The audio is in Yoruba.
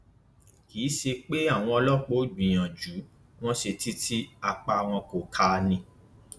kì í ṣe pé àwọn ọlọpàá ò gbìyànjú wọn ṣe títí apá wọn kò ká a ni